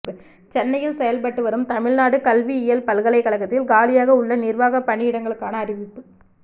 சென்னையில் செயல்பட்டு வரும் தமிழ்நாடு கல்வியியல் பல்கலைக்கழத்தில் காலியாக உள்ள நிர்வாக பணியிடங்களுக்கான அறிவிப்பு